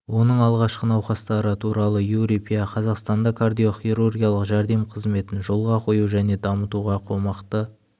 оның алғашқы науқастары туралы юрий пя қазақстанда кардиохирургиялық жәрдем қызметін жолға қою және дамытуға қомақты